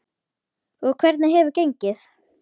Og hvernig hefur gengið?